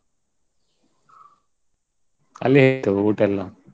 ಅಲ್ಲೇ ಇತ್ತು ಊಟ ಎಲ್ಲಾ?